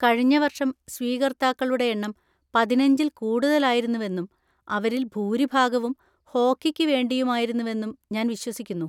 കഴിഞ്ഞ വർഷം സ്വീകർത്താക്കളുടെ എണ്ണം പതിനഞ്ചിൽ കൂടുതലായിരുന്നുവെന്നും അവരിൽ ഭൂരിഭാഗവും ഹോക്കിക്ക് വേണ്ടിയുമായിരുന്നുവെന്നും ഞാൻ വിശ്വസിക്കുന്നു.